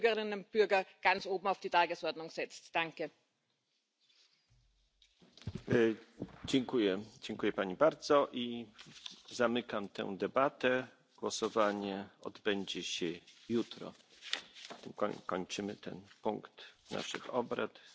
forth. Another important milestone achieved with this legislation is the once only' principle, which for the first time ever will be introduced at European level. This means that citizens will no longer have to submit the same documents over and over again, but instead will submit them only once, and they can then be reused, while fully respecting the protection of personal